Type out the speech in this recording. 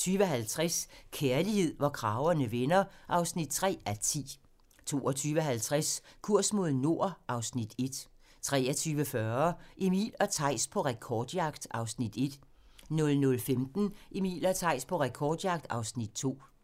20:50: Kærlighed, hvor kragerne vender (3:10) 22:50: Kurs mod nord (Afs. 1) 23:40: Emil og Theis på rekordjagt (Afs. 1) 00:15: Emil og Theis på rekordjagt (Afs. 2)